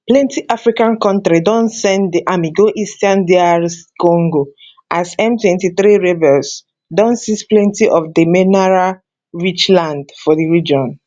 plenty african kontris don send di army go eastern dr congo as m23 rebels don seize plenty of di mineralrich land for di region